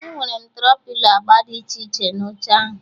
Enwere m Tro-pilo agba dị iche na oche ahụ